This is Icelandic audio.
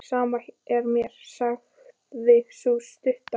Sama er mér, sagði sú stutta.